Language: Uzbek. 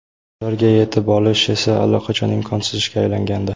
Ularga yetib olish esa allaqachon imkonsiz ishga aylangandi.